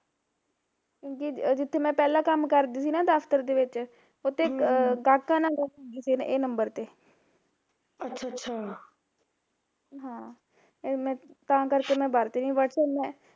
ਕਿਉਕਿ ਜਿੱਥੇ ਮੈਂ ਪਹਿਲਾਂ ਕੰਮ ਕਰਦੀ ਸੀ ਨਾ ਦਫ਼ਤਰ ਦੇ ਵਿੱਚ, ਉਥੇ ਗਾਹਕਾਂ ਨਾਲ ਗੱਲ ਹੁੰਦੀ ਸੀ ਏਹ ਨੰਬਰ ਤੇ ਹਾਂ ਏਹ ਮੈਂ, ਤਾਂ ਕਰਕੇ ਮੈਂ ਵਰਤਦੀ ਨੀ ਵੈਸੇ ਮੈਂ